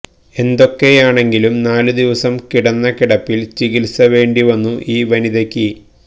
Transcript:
എന്തൊക്കെയാണെങ്കിലും നാലുദിവസം കിടന്ന കിടപ്പിൽ ചികിൽസ വേണ്ടി വന്നു ഈ വനിതയ്ക്ക്